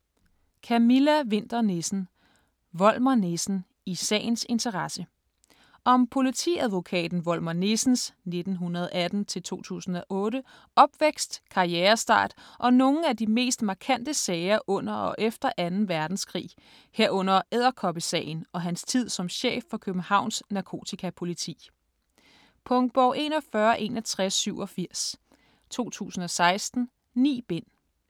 Winther Nissen, Camilla: Volmer Nissen - i sagens interesse Om politiadvokaten Volmer Nissens (1918-2008) opvækst, karrierestart og nogle af de mest markante sager under og efter 2. verdenskrig, herunder "Edderkoppesagen" og hans tid som chef for Københavns Narkotikapoliti. Punktbog 416187 2016. 9 bind.